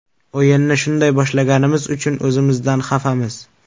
O‘yinni shunday boshlaganimiz uchun o‘zimizdan xafamiz.